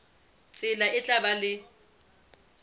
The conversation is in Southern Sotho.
tsela e tla ba le